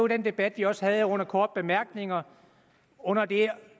den debat vi også havde under korte bemærkninger under det